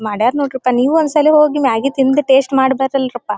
ಮಾಡರ ನೋಡ್ರಿ ಪ್ಪಾ ನೀವು ಒಂದ್ ಸಲಿ ಹೋಗಿ ಮ್ಯಾಗಿ ತಿಂದು ಟೇಸ್ಟ್ ಮಾಡ್ರಪ್ಪ.